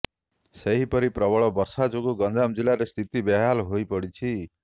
ସେହିପରି ପ୍ରବଳ ବର୍ଷା ଯୋଗୁ ଗଞ୍ଜାମ ଜିଲ୍ଲାରେ ସ୍ଥିତି ବେହାଲ ହୋଇପଡ଼ିଛି